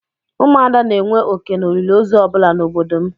Ụmụ ada na-enwe oké n'olili ozu ọ bụla na obodo m.